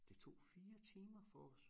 Det tog 4 timer for os